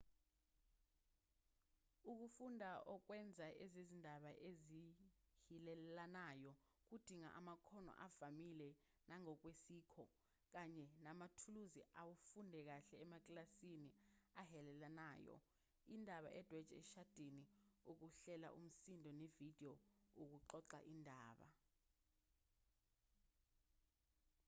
ukufunda ukwenza ezezindaba ezihilelanayo kudinga amakhono avamile nangokwesikho kanye namathuluzi afundwe kahle emakilasini ahilelanayo indaba edwetshwe eshadini ukuhlela umsindo nevidiyo ukuxoxa izindaba njll.